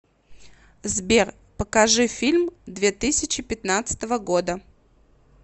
сбер покажи фильм две тысячи пятнадцатого года